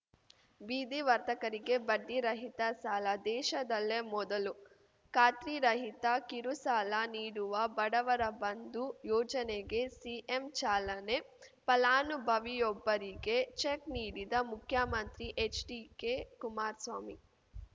ಬೀದಿ ವರ್ತಕರಿಗೆ ಬಡ್ಡಿರಹಿತ ಸಾಲ ದೇಶದಲ್ಲೇ ಮೊದಲು ಖಾತ್ರಿರಹಿತ ಕಿರುಸಾಲ ನೀಡುವ ಬಡವರ ಬಂಧು ಯೋಜನೆಗೆ ಸಿಎಂ ಚಾಲನೆ ಫಲಾನುಭವಿಯೊಬ್ಬರಿಗೆ ಚೆಕ್‌ ನೀಡಿದ ಮುಖ್ಯಮಂತ್ರಿ ಎಚ್‌ಡಿಕೆ ಕುಮಾರ್ ಸ್ವಾಮಿ